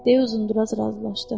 Dedi uzun-duraz razılaşdı.